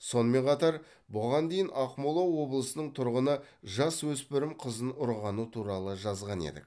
сонымен қатар бұған дейін ақмола облысының тұрғыны жасөспірім қызын ұрғаны туралы жазған едік